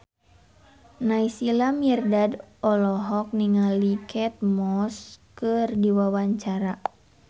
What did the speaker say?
Naysila Mirdad olohok ningali Kate Moss keur diwawancara